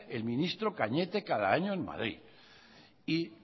el ministro cañete cada año en madrid y